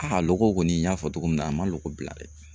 A logo kɔni n y'a fɔ cogo min na a ma logo bila dɛ.